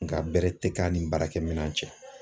Nka bɛrɛ tɛ k'a ni baarakɛminɛn cɛ